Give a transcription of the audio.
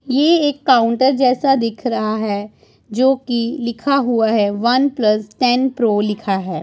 ये एक काउंटर जैसा दिख रहा है जोकि लिखा हुआ है वन प्लस टेन प्रो लिखा है।